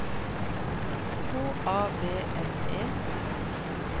H A V N E